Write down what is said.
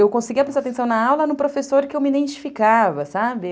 Eu conseguia prestar atenção na aula no professor que eu me identificava, sabe?